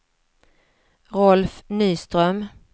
Rolf Nyström